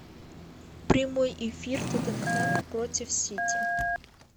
прямой эфир тоттенхэма против сити